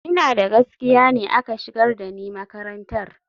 Ina da gaskiya ne aka shigar da ni makarantar.